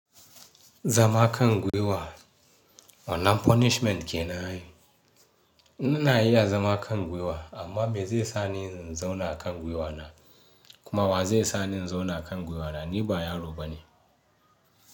Zama kan gwiwa wannan punishment kenan ai. N'ina iya zama a kan gwiwa amma me zai sa ni in zauna a kan gwiwa na? Kuma wa zai sa ni in zauna a kan gwiwa na ni baya roba ne?